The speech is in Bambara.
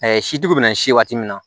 sitigiw bɛna si waati min na